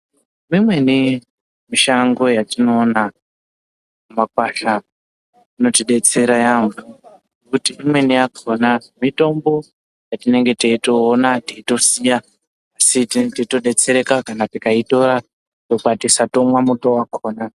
Imweni mishango yatino ona mu makwasha inoti detsera yambo nekuti imweni yakona mitombo ya tinenge teito ona teito siya asi tinenge teito detsereka kana tikai tora to kwatisa tomwa muto wakona.